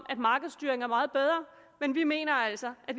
at markedsstyring er meget bedre men vi mener altså at